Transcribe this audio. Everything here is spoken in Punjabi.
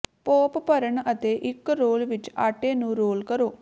ਪੋਪ ਭਰਨ ਅਤੇ ਇਕ ਰੋਲ ਵਿੱਚ ਆਟੇ ਨੂੰ ਰੋਲ ਕਰੋ